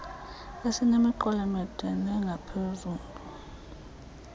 esinemiqolo emide nengaphezulu